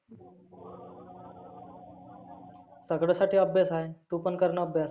सगळ्यासाठी अभ्यास आहे. तु पण करना अभ्यास.